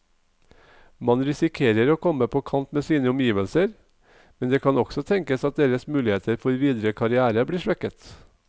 Man risikerer å komme på kant med sine omgivelser, men det kan også tenkes at deres muligheter for videre karrière blir svekket.